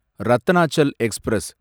Ratnachal express